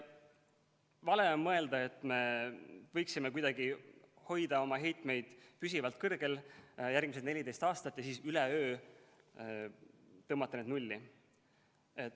Vale on mõelda, et me võiksime kuidagi hoida oma heitmeid püsivalt kõrgel järgmised 14 aastat ja siis üleöö tõmmata need nulli.